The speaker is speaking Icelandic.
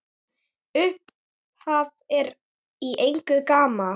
Upphaf er í eigu GAMMA.